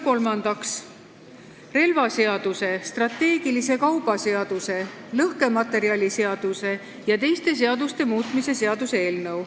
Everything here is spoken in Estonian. Kolmandaks, relvaseaduse, strateegilise kauba seaduse, lõhkematerjaliseaduse ja teiste seaduste muutmise seaduse eelnõu.